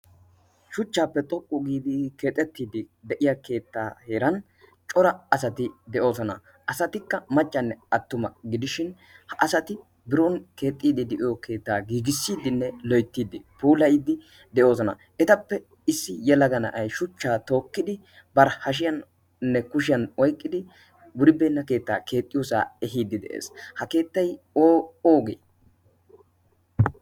shuchchaappe xoqqu giidi keexettiiddi de'iya keettaa heeran cora asati de'oosona asatikka maccanne attuma gidishin ha asati biron keexxiiddi de'iyo keettaa giigissiiddinne loittiiddi polayiiddi de'oosona etappe issi yelaga na'ay shuchchaa tookkidi bari hashiyannne kushiyan oyqqidi wuribeenna keettaa keexxiyoosaa ehiiddi de'ees ha keettay oogee